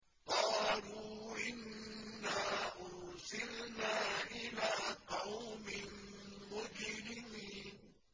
قَالُوا إِنَّا أُرْسِلْنَا إِلَىٰ قَوْمٍ مُّجْرِمِينَ